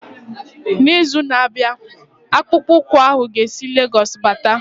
N'izu na-abịa akpụkpọ ụkwụ ahu ga esi Lagosu bata.